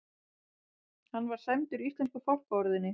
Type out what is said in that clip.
Hann var sæmdur íslensku fálkaorðunni